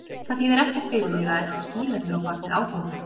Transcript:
Það þýðir ekkert fyrir þig að ætla að skýla þér á bak við áfengið.